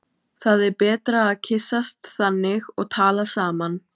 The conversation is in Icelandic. Það er betra að kyssast þannig og tala saman.